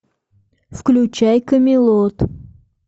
включай камелот